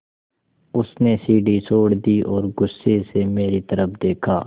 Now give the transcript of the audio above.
उसने सीढ़ी छोड़ दी और गुस्से से मेरी तरफ़ देखा